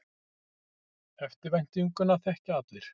Eftirvæntinguna þekkja allir.